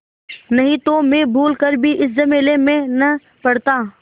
नहीं तो मैं भूल कर भी इस झमेले में न पड़ता